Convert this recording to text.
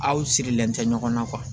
Aw sirilen tɛ ɲɔgɔn na